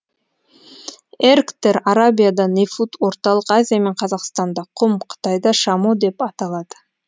эргтер арабияда нефуд орталық азия мен қазақстанда құм қытайда шамо деп аталады